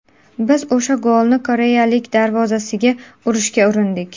Biz o‘sha golni koreyaliklar darvozasiga urishga urindik.